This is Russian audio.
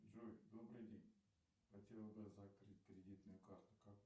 джой добрый день хотел бы закрыть кредитную карту как